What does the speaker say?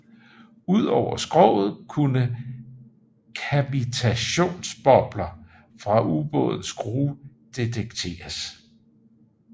Udover skroget kunne kavitationsbobler fra ubådens skrue detekteres